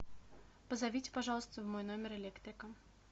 позовите пожалуйста в мой номер электрика